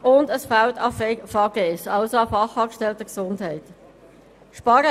Auch fehlt es an Fachfrauen/Fachmänner Gesundheit (FaGe).